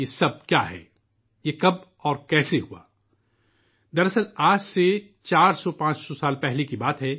یہ سب چیزیں کس لیے ہیں اور یہ کیسے ہوا؟ درحقیقت، یہ واقعہ چار سو یا پانچ سو برس پہلے کا ہے